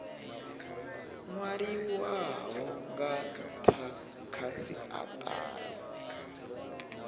nwaliwaho nga ntha kha siatari